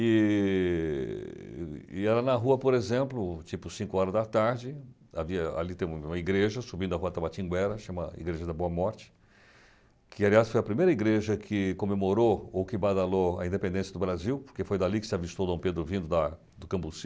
E e era na rua, por exemplo, tipo cinco horas da tarde, ali tem uma igreja subindo a rua Tabatinguera, chama Igreja da Boa Morte, que aliás foi a primeira igreja que comemorou ou que badalou a independência do Brasil, porque foi dali que se avistou Dom Pedro vindo da do Cambuci.